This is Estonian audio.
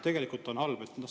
Tegelikult on see halb.